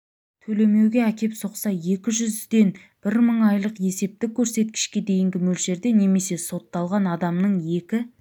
төлемеуге әкеп соқса екі жүзден бір мың айлық есептік көрсеткішке дейінгі мөлшерде немесе сотталған адамның екі